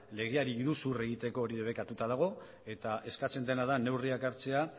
legeari iruzur egiteko hori debekatuta dago eta eskatzen dena da neurriak hartzea